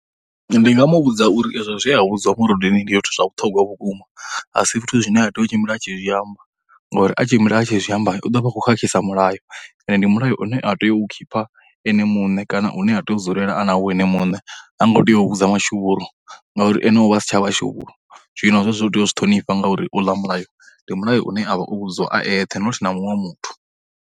Ndi nga mu vhudza uri ezwo zwe a vhudzwa murudeni ndi yo zwa vhuṱhogwa vhukuma, a si zwithu zwine a tea u tshimbila a tshi zwiamba ngori a tshimbila a tshi zwi amba u ḓo vha khou khakhisa mulayo, ende ndi mulayo une a tea u u khipha ene muṋe kana une a tea u dzulela a na wo ene muṋe, ha ngo tea u vhudza mashuvhuru ngauri ene u vha a si tsha vha shuvhuru. Zwino zwe zwo u tea u zwi ṱhonivha ngauri uḽa mulayo ndi mulayo une a vha o vhudziwa a eṱhe nothi na muṅwe muthu.